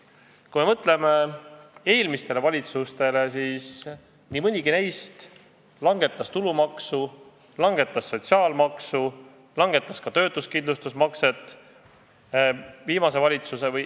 Kui me mõtleme eelmistele valitsustele, siis nii mõnigi neist langetas tulumaksu, langetas sotsiaalmaksu, langetas ka töötuskindlustusmakset.